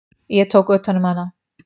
Ég tók utan um hana.